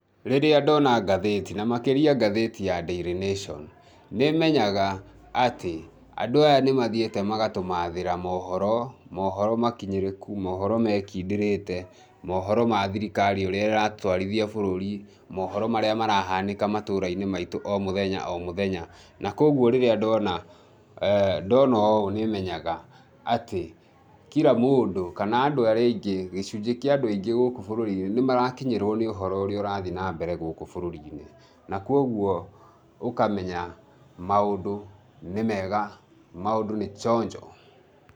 Rĩrĩa ndona ngatheti, na makĩria ngatheti ya Daily Nation, nĩ menyaga atĩ, andũ aya nĩ mathiĩte magatũmaathĩra moohoro, moohoro makinyĩrĩku, moohoro mekindĩrĩte, moohoro ma thirikari ũrĩa ĩratwarithia bũrũri, moohoro marĩa marahanĩka matũra-inĩ maitũ o mũthenya o mũthenya. Na kwoguo rĩrĩa ndona, ndona ũũ nĩ menyaga atĩ kira mũndũ kana andũ arĩa aingĩ, gĩcunji kĩa andũ aingĩ gũkũ bũrũri-inĩ nĩ marakinyĩrwo nĩ ũhoro ũrĩa ũrathiĩ na mbere gũkũ bũrũri-inĩ. Na kwoguo, ũkamenya maũndũ nĩ mega, maũndũ nĩ chonjo .